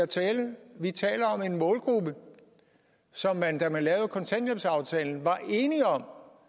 vi taler om en målgruppe som man da man lavede kontanthjælpsaftalen var enige om